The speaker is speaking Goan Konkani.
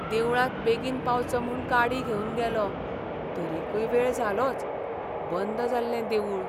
देवळांत बेगीन पावचो म्हूण गाडी घेवन गेलों, तरीकय वेळ जालोच. बंद जाल्लें देवूळ.